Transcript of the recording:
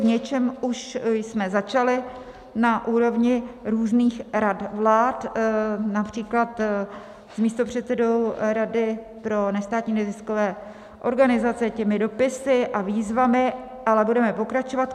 V něčem už jsme začali na úrovni různých rad vlád, například s místopředsedou rady pro nestátní neziskové organizace těmi dopisy a výzvami, ale budeme pokračovat.